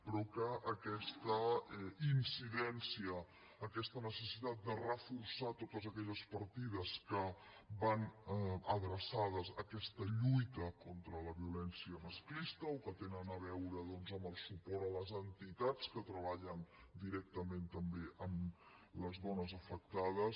però aquesta incidència aquesta necessitat de reforçar totes aquelles partides que van adreçades a aquesta lluita contra la violència masclista o que tenen a veure amb el suport a les entitats que treballen directament també amb les dones afectades